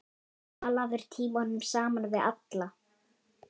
Talaðir tímunum saman við alla.